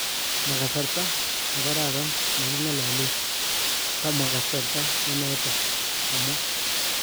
Ma kasarta ne karara ne kingalalen, samwa kasarta neto,"kamwa